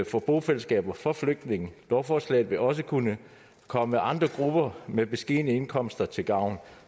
for bofællesskaber for flygtninge lovforslaget vil også kunne komme andre grupper med beskedne indkomster til gavn